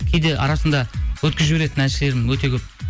кейде арасында өткізіп жіберетін әншілерім өте көп